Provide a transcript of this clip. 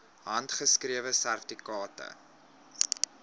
handgeskrewe sertifikate